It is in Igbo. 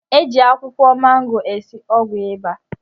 E ji akwụkwọ mango esi ọgwụ ịba